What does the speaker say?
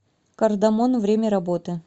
кардамон время работы